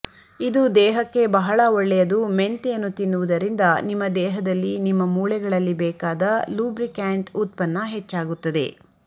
ಇದು ದೇಹಕ್ಕೆ ಬಹಳ ಒಳ್ಳೆಯದು ಮೆಂತೆಯನ್ನು ತಿನ್ನುವುದರಿಂದ ನಿಮ್ಮ ದೇಹದಲ್ಲಿ ನಿಮ್ಮ ಮೂಳೆಗಳಲ್ಲಿ ಬೇಕಾದ ಲುಬ್ರಿಕ್ಯಾಂಟ್ ಉತ್ಪನ್ನ ಹೆಚ್ಚಾಗುತ್ತದೆ